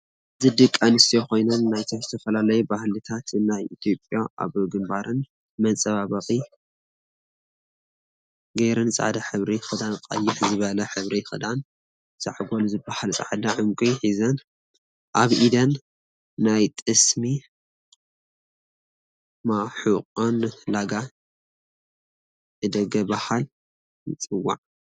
እዚ ድቅ ኣንስትዮ ኮይነን ናይ ዝተፈላላየ በህሊታት ናይ ኢትዮጵያ ኣብ ግንባረን መፃባብቀ ገይረን ፃዕደ ሕብሪ ክዳን ቀይሕ ዝበለ ሕብሪ ክዳን ዛዕጎል ዝበሃል ፃዕዳ ዕንቁ ሕዘን ኣብ ኤደን ናይ ጥስሚ ማሑቆን ላጋ እ ደተ በሃለ ይፅዋዕ።